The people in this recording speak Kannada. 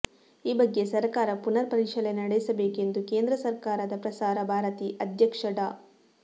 ಈ ಬಗ್ಗೆ ಸರಕಾರ ಪುನರ್ ಪರಿಶೀಲನೆ ನಡೆಸಬೇಕೆಂದು ಕೇಂದ್ರ ಸರಕಾರದ ಪ್ರಸಾರ ಭಾರತಿ ಅಧ್ಯಕ್ಷ ಡಾ